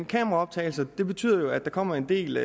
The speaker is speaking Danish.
kameraoptagelser vil betyde at der kommer en del